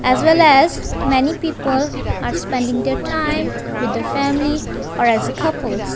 as well as many people are spending the time with the family or as a couples.